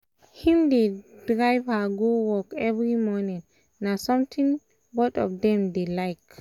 him dey drive her go work every morning na something na something both of them dey like